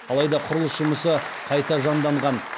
алаи да құрылыс жұмысы қаи та жанданған